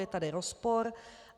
Je tady rozpor.